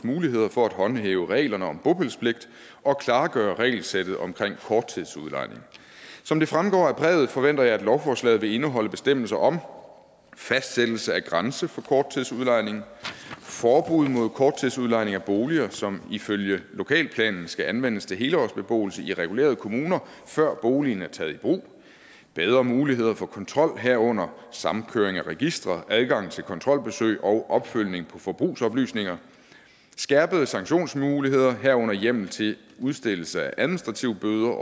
muligheder for at håndhæve reglerne om bopælspligt og klargøre regelsættet omkring korttidsudlejning som det fremgår af brevet forventer jeg at lovforslaget vil indeholde bestemmelser om fastsættelse af grænse for korttidsudlejning forbud mod korttidsudlejning af boliger som ifølge lokalplanen skal anvendes til helårsbeboelse i regulerede kommuner før boligen er taget i brug bedre muligheder for kontrol herunder samkøring af registre adgang til kontrolbesøg og opfølgning på forbrugsoplysninger skærpede sanktionsmuligheder herunder hjemmel til udstedelse af administrative bøder